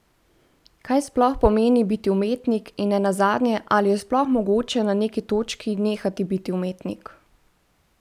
Kaj sploh pomeni biti umetnik in nenazadnje, ali je sploh mogoče na neki točki nehati biti umetnik?